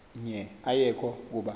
nqe ayekho kuba